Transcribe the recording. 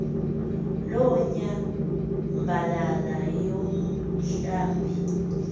loo nyambalala yomhlambi